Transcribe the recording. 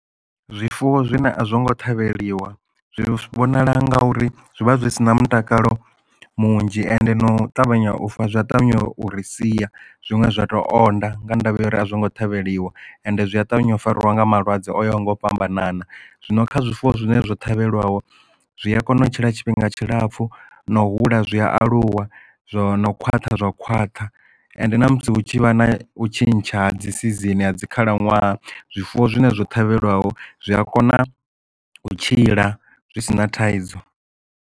Zwifuwo zwine a zwongo ṱhavheliwa zwi vhonala nga uri zwi vha zwi si na mutakalo munzhi ende no ṱavhanya u fa zwi a ṱavhanya u ri sia zwiṅwe zwa tou onda nga ndavha uri a zwo ngo ṱhavheliwa ende zwi a ṱavhanya u fariwa nga malwadze o fhambananaho zwino kha zwifuwo zwine zwo ṱhavheliwa zwi a kona u tshila tshifhinga tshilapfu na hula zwi aluwa zwo khwaṱha zwa khwaṱha ende na musi hu tshi vha na u tshintsha dzi si season ha dzi khalaṅwaha zwifuwo zwine zwo ṱhavheliwa ho zwi a kona u tshila zwi si na thaidzo.